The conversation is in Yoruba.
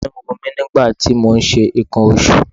Inú ń run mí nígbà tí mò ń ṣe nǹkan oṣù.